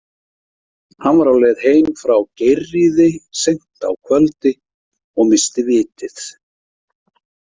Hann var á leið heim frá Geirríði seint á kvöldi og missti vitið.